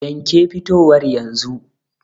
Yanke fitowar yanzu.